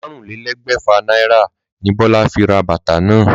Márùnlélégbèfà náírà ni Bólá fi ra bàtà náà